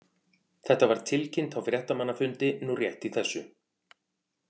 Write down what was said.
Þetta var tilkynnt á fréttamannafundi nú rétt í þessu.